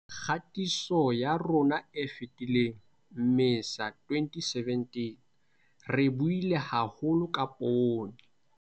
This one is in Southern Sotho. Kgatisong ya rona e fetileng, Mmesa 2017, re buile haholo ka poone.